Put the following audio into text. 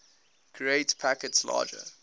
create packets larger